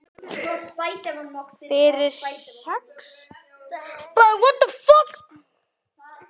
Fyrir sex?